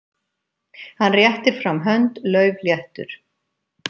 Hann réttir fram hönd, laufléttur.